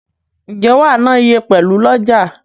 Nje wa na iye pelu oloja?